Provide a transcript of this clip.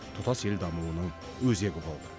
тұтас ел дамуының өзегі болды